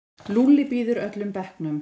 Lúlli býður öllum bekknum.